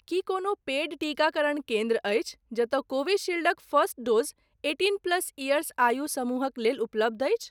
की कोनो पेड टीकाकरण केन्द्र अछि जतय कोविशील्डक first dose eighteen plus years आयु समूहक लेल उपलब्ध अछि।